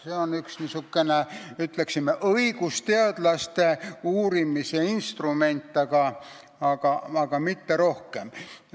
See on üks, ütleksin, õigusteadlaste uurimise instrument, aga mitte rohkem.